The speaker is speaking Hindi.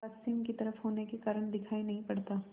पश्चिम की तरफ होने के कारण दिखाई नहीं पड़ता